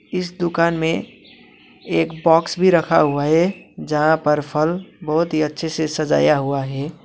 इस दुकान में एक बॉक्स भी रखा हुआ है जहां पर फल बहोत ही अच्छे से सजाया हुआ है।